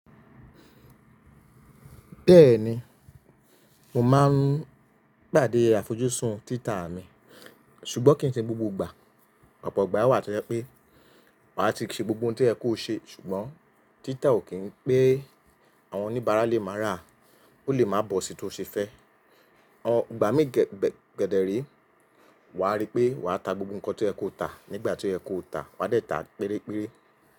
Bẹ́ẹ̀ni, mo máa ń pàdé àfojúsùn títà mi, ṣùgbọ́n kì í ṣe gbogbo ìgbà. Ọ̀pọ̀ ìgbà wà tẹ́lẹ̀ pé wàá ti ṣe gbogbo ohun tí ẹ kò ṣe ṣùgbọ́n títà ò kí ń pé àwọn oníbàárà lè máa rà á, ó lè máa bọ́ sí tó ṣe fẹ́. Igbà mi kẹ̀dẹ̀re, wàá rí pé wàá ta gbogbo nǹkan tí oye kò ta nígbà tí oye kò ta, wà á dẹ̀ ta pérére.